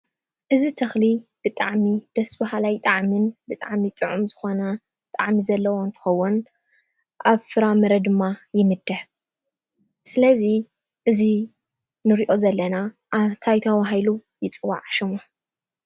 እዝ ተኽሊ ብጣዕሚ ደስ ባሃላይ ጣዓምን ብጥዕሚ ጥዑም ዝኾነ ጣዕሚ ዘለዎ እንትኸውን ኣብ ፍራ ምረ ድማ ይምድህ ስለዚ እዚ ንሪኦ ዘለና ኣብ ታይ ታባሂሉ ይፅዋዕ ሹሙ?